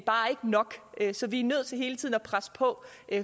nok så vi er nødt til hele tiden at presse på